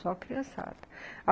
Só a criançada.